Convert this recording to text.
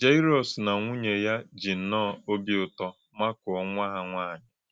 Jèirọ̀ s na nwúnyè̄ yá jì̄ nnọọ̄ ọ́bì ụ̀tọ́ mà̄kúọ̄ nwá̄ hà̄ nwá̄nyí̄.